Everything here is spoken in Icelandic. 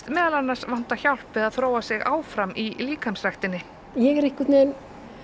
meðal annars vanta hjálp við að þróa sig áfram í líkamsræktinni ég er einhvern veginn